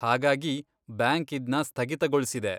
ಹಾಗಾಗಿ ಬ್ಯಾಂಕ್ ಇದ್ನ ಸ್ಥಗಿತಗೊಳ್ಸಿದೆ.